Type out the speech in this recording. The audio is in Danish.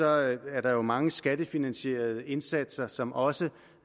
er er der mange skattefinansierede indsatser som også